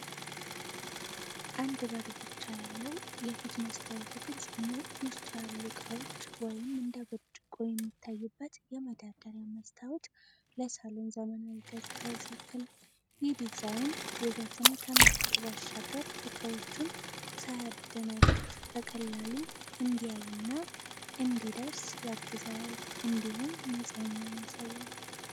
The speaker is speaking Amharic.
አንድ በር ብቻ ያለው፣ የፊት መስታወቱ ግልጽ ሆኖ ውስጡ ያሉ ዕቃዎች (እንደ ብርጭቆ) የሚታዩበት የመደርደሪያ መስታወት ለሳሎን ዘመናዊ ገጽታ ይሰጣል። ይህ ዲዛይን ውበትን ከመስጠት ባሻገር፣ ዕቃዎቹን ሳያደናቅፍ በቀላሉ እንዲያይና እንዲደርስ ያግዘዋል፣ እንዲሁም ንጽህናን ያሳያል።